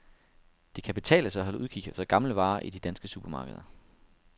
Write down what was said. Det kan betale sig at holde udkig efter gamle varer i de danske supermarkeder.